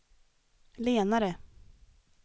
lenare